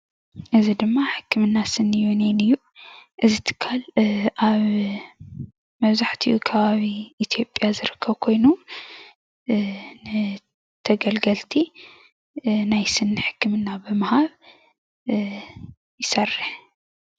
እዚ ድማ ሕክምና ስኒ ዩኒየን እዩ እዚ ትካል አብ ምብዛሕትኡ ከባቢ ኢትዩዸያ ዝርከብ ኮይኑ ንተገልግልቲ ናይ ስኒ ሕክምና ብምሃብ ይስርሕ፡፡